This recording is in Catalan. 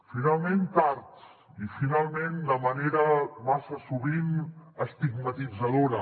finalment tard i finalment de manera massa sovint estigmatitzadora